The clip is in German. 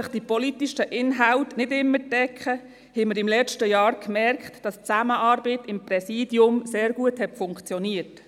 Wenngleich sich die politischen Inhalte nicht immer decken, merkten wir letztes Jahr, dass die Zusammenarbeit innerhalb des Präsidiums sehr gut funktioniert.